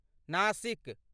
Nashik